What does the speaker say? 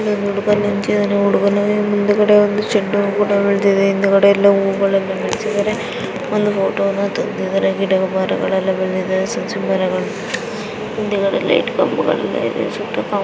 ಇಲ್ಲಿ ಒಬ್ಬ ಹುಡುಗ ನಿಂತಿದ್ದಾನೆ ಹುಡುಗನ ಹಿಂದೆ ಶೆಡ್ ಕೂಡ ಇದೆ ಹೊ ಗಳಿಲ್ಲ ಬೆಳಿದವೇ ಒಂದು ಫೋಟೋವನ್ನ ತೆಗ್ದಿದಾರೆ. ಗಿಡ ಮರಗಳೆಲ್ಲ ಬೆಳೆದಿದ್ದಾವೆ ಮುಂದೆ ಲೈಟ್ ಕಂಬಗಳೆಲ್ಲ ಇದೆ ಸುತ್ತ--